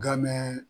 Game